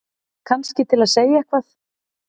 Kannski til að segja eitthvað.